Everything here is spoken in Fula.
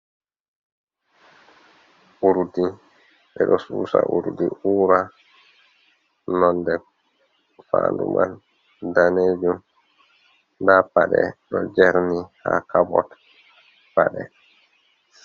Urdi, ɓeɗo susa urdi uura, nonde fanndu man danejum, nda paɗe ɗon jerni ha kabot , paɗe.